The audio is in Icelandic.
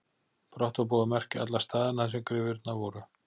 Brátt var búið að merkja alla staðina þar sem gryfjurnar voru.